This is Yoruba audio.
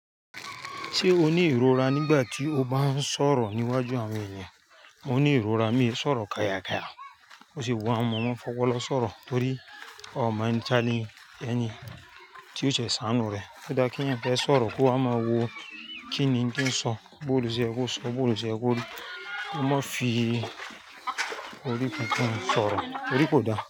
Ṣé o ní ìrora nígbà tí o bá ń sọ̀rọ̀ níwájú àwọn ènìyàn? Mo ní ìrora, mi ò lè sọ̀rọ̀ kayà kayà, ó sì bu àwọn ọmọ fọwọ́ lọ sọ̀rọ̀ torí ó máa ń ta lé ẹni tí ó ṣẹ̀ sáànú rẹ̀. Kí o dá kí ẹ̀yàn pé sọ̀rọ̀ kó ha máa wo kí ni kí ń sọ, bórú ṣe ẹ kó sọ, bórú ṣe ẹ kó dúró. Ó má fi orí kankan sọ̀rọ̀, orí kò dáa.